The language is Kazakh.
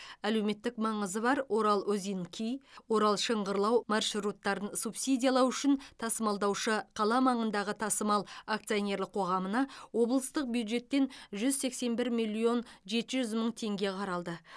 әлеуметтік маңызы бар орал озинки орал шыңғырлау маршруттарын субсидиялау үшін тасымалдаушы қала маңындағы тасымал акционерлік қоғамына облыстық бюджеттен жүз сексен бір миллион жеті жүз мың теңге қаралды